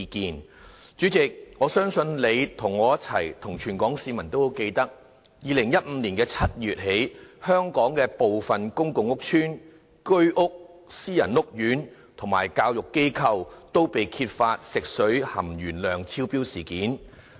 代理主席，我相信你、我和全港市民均記得，從2015年7月起，香港部分公共屋邨、居屋、私人屋苑和教育機構，均被揭發食水含鉛量超標的事件。